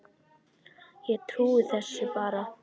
Ég trúi þessu bara.